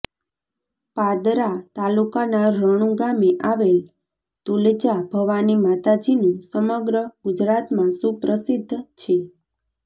પાદરા તાલુકાના રણુ ગામે આવેલ તુલજા ભવાની માતાજીનું સમગ્ર ગુજરાતમાં સુપ્રસિદ્ધ છે